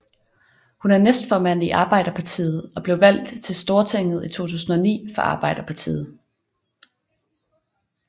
Hun er næstformand i Arbeiderpartiet og blev valgt til Stortinget i 2009 for Arbeiderpartiet